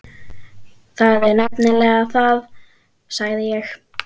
Það er nefnilega það, sagði ég.